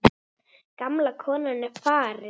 Gamla konan er farin.